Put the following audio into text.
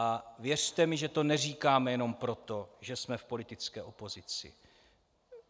A věřte mi, že to neříkáme jenom proto, že jsme v politické opozici.